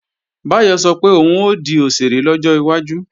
Báyọ̀ sọ pé òun ó di òṣèré lọ́jọ́ iwájú